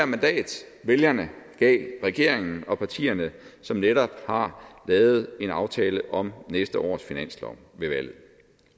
mandat vælgerne gav regeringen og partierne som netop har lavet en aftale om næste års finanslov ved valget